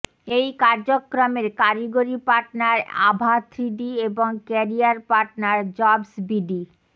এই কার্যক্রমের কারিগড়ি পার্টনার আভা থ্রিডি এবং ক্যারিয়ার পার্টনার জবসবিডি